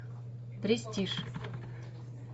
престиж